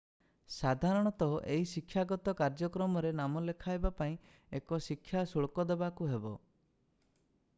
ସାଧାରଣତଃ ଏହି ଶିକ୍ଷାଗତ କାର୍ଯ୍ୟକ୍ରମରେ ନାମ ଲେଖାଇବା ପାଇଁ ଏକ ଶିକ୍ଷା ଶୁଳ୍କ ଦେବାକୁ ହେବ